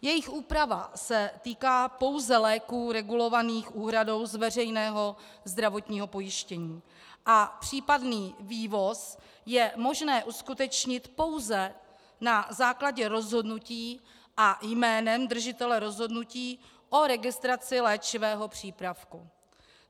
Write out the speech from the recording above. Jejich úprava se týká pouze léků regulovaných úhradou z veřejného zdravotního pojištění a případný vývoz je možné uskutečnit pouze na základě rozhodnutí a jménem držitele rozhodnutí o registraci léčivého přípravku.